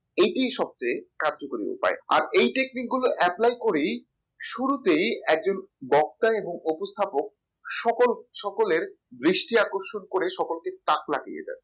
এটি সবচেয়ে কার্যকরী উপায় আর এই technique গুলো apply করেই শুরুতেই একজন বক্তা এবং উপস্থাপক সকল সকলের দৃষ্টি আকর্ষণ করে সকলকে তাক লাগিয়ে দেয়